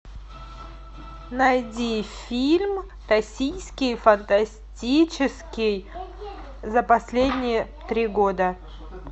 найди фильм российский фантастический за последние три года